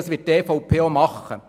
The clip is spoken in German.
Das wird die EVP auch tun.